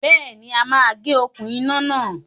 Béèni, a máa gé okún iná náà